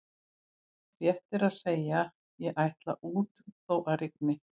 Rétt er að segja: ég ætla út þó að rigni